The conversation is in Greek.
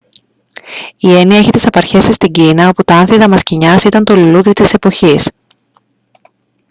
η έννοια έχει τις απαρχές της στην κίνα όπου τα άνθη δαμασκηνιάς ήταν το λουλούδι της εποχής